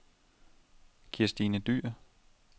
Kirstine Dyhr